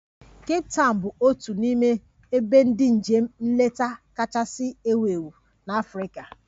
Kape Tawn bụ otu n'ime ebe ndị njem nleta kachasị ewu ewu na Africa